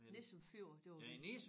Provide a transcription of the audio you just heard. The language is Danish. Nissum Fjord det var